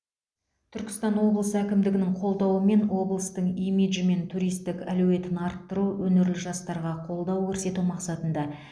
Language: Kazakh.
түркістан облысы әкімдігінің қолдауымен облыстың имиджі мен туристік әлеуетін арттыру өнерлі жастарға қолдау көрсету мақсатында